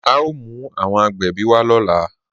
A o mú awọn agbẹ́bí wa lọ́lá.